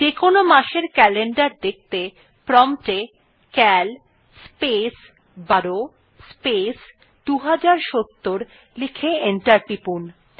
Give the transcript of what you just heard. যেকোন মাসের ক্যালেন্ডার দেখতে প্রম্পট এ সিএএল স্পেস ১২ স্পেস ২০৭০ লিখে এন্টার টিপুন